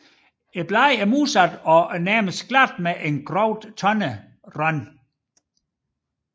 Bladene er modsatte og næsten glatte med groft tandet rand